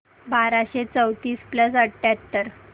बाराशे चौतीस प्लस अठ्याहत्तर